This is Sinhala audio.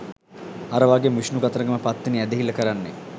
අර වගේම විෂ්ණු කතරගම පත්තිනි ඇදහිල්ල කරන්නේ